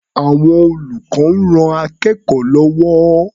Àwọn olùkọ́ ń ran akẹ́kọ̀ó lọ́wọ́.